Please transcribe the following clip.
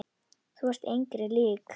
Þú ert engri lík.